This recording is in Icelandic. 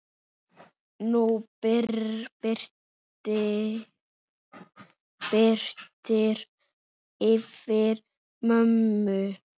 Nú birtir yfir mömmu.